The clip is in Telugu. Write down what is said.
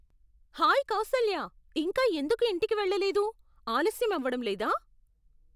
హాయ్ కౌసల్యా, ఇంకా ఎందుకు ఇంటికి వెళ్ళలేదు? ఆలస్యం అవ్వడం లేదా?